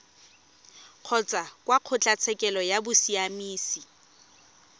kgotsa kwa kgotlatshekelo ya bosiamisi